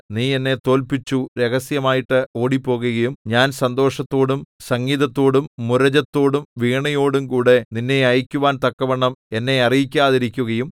നീ എന്നെ തോല്പിച്ചു രഹസ്യമായിട്ട് ഓടിപ്പോകുകയും ഞാൻ സന്തോഷത്തോടും സംഗീതത്തോടും മുരജത്തോടും വീണയോടുംകൂടെ നിന്നെ അയയ്ക്കുവാൻ തക്കവണ്ണം എന്നെ അറിയിക്കാതിരിക്കുകയും